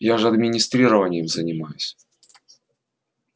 я же администрированием занимаюсь